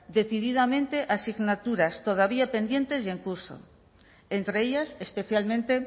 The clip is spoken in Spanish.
decididamente asignaturas todavía pendientes y en curso entre ellas especialmente